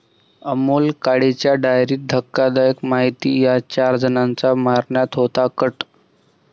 अमोल काळेच्या डायरीत धक्कादायक माहिती, 'या' चार जणांना मारण्याचा होता कट